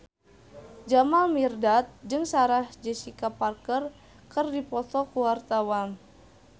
Jamal Mirdad jeung Sarah Jessica Parker keur dipoto ku wartawan